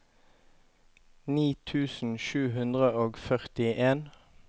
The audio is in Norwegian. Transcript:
ni tusen sju hundre og førtien